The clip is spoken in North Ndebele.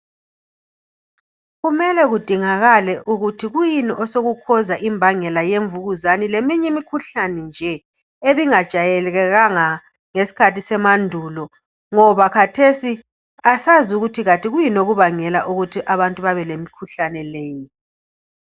kumele kudingakale ukuthi kuyini osoku causer imbangela yemvukuzane leminye imikhuhlane nje ebingajayelekanga ngesikhathi semandulo ngoba khathesi asazi ukuthi kuyini okubangela abantu ukuthi babe lemikhuhlane leyi